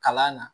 Kalan na